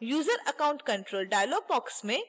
user account control dialog box में